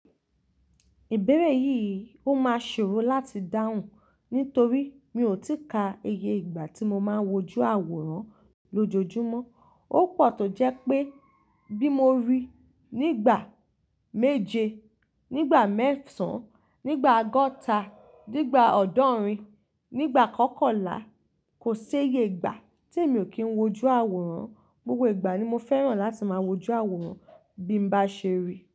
Ìbéèrè yìí ó máa ṣòro láti dáhùn nítorí mi ò tí ka iye ìgbà tí mo máa ń wojú àwòrán lójoojúmọ́. Ó pọ̀ tó jẹ́ pé bí mo rí nígbà méje, nígbà mẹ́sàn-an, nígbà ọgọ́ta, nígbà ọ̀ọ́dúnrín, nígbà kọ́kànlá, kò séye ìgbà tí emi ò kí ń wojú àwòrán. Gbogbo ìgbà ni mo fẹ́ràn láti máa wojú àwòrán bí mo bá ṣe rí.